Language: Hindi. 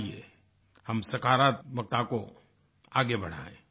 आइये हम सकारात्मकता को आगे बढाएं